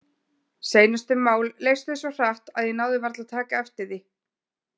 Seinustu mál leystust svo hratt að ég náði varla að taka eftir því.